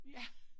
Ja